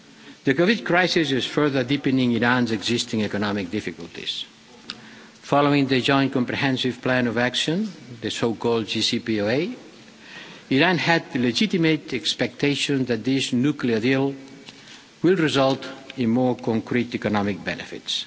The COVID crisis is further deepening Iran's existing economic difficulties. Following the Joint Comprehensive Plan of Action, the so called JCPOA, Iran had the legitimate expectation that this nuclear deal will result in more concrete economic benefits.